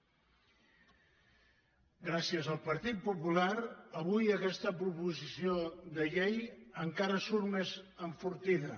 gràcies al partit popular avui aquesta proposició de llei encara surt més enfortida